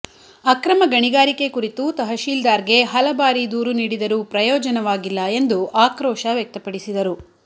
ಅಕ್ರಮ ಗಣಿಗಾರಿಕೆ ಕುರಿತು ತಹಶೀಲ್ದಾರ್ಗೆ ಹಲ ಬಾರಿ ದೂರು ನೀಡಿದರೂ ಪ್ರಯೋಜನವಾಗಿಲ್ಲ ಎಂದು ಆಕ್ರೋಶ ವ್ಯಕ್ತಪಡಿಸಿದರು